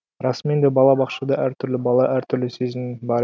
расымен де бала бақшада әр түрлі бала әртүрлі сезім бар